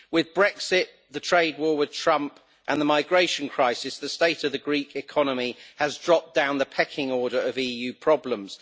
With Brexit, the trade war with Trump and the migration crisis, the state of the Greek economy has dropped down the pecking order of EU problems.